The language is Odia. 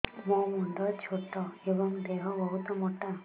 ମୋ ମୁଣ୍ଡ ଛୋଟ ଏଵଂ ଦେହ ବହୁତ ମୋଟା